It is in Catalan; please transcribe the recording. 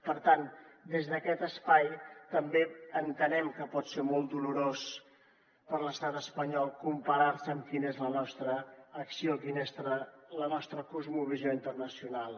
per tant des d’aquest espai també entenem que pot ser molt dolorós per a l’estat espanyol comparar se amb quina és la nostra acció quina és la nostra cosmovisió internacional